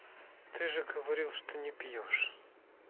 ты же говорил что не пьёшь